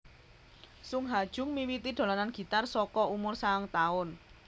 Sung Ha Jung miwiti dolanan gitar saka umur sangang taun